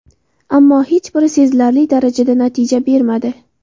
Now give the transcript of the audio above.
Ammo hech biri sezilarli darajada natija bermadi.